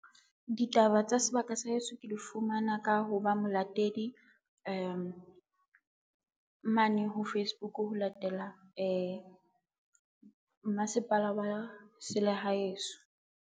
Ditaba tsa sebaka sa heso ke di fumana ka ho ba molatedi mane ho Facebook ho latela mmasepala wa selehaeheso.